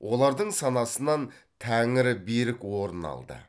олардың санасынан тәңірі берік орын алды